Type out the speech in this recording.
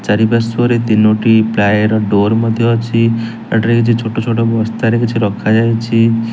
ଚାରିପାର୍ଶ୍ୱରେ ତିନୋଟି ପ୍ଲାଏର ଡୋର୍ ମଧ୍ୟ ଅଛି। ତାଠାରେ କିଛି ଛୋଟଛୋଟ ବସ୍ତାରେ କିଛି ରଖାଯାଇଚି।